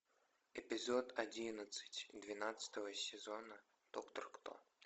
эпизод одиннадцать двенадцатого сезона доктор кто